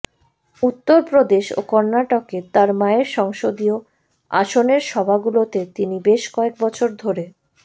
উত্তর প্রদেশ ও কর্ণাটকে তাঁর মায়ের সংসদীয় আসনের সভাগুলোতে তিনি বেশ কয়েক বছর ধরে